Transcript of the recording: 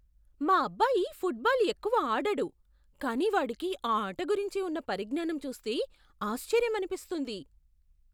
మా అబ్బాయి ఫుట్బాల్ ఎక్కువ ఆడడు, కానీ వాడికి ఆ ఆట గురించి ఉన్న పరిజ్ఞానం చూస్తే ఆశ్చర్యమనిస్తుంది.